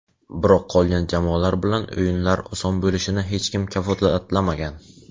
biroq qolgan jamoalar bilan o‘yinlar oson bo‘lishini hech kim kafolatlamagan.